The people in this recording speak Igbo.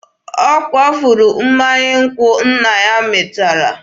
Ọ kwafuru mmanya nkwụ nna ya mịtara.